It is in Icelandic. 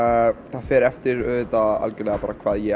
það fer eftir hvað ég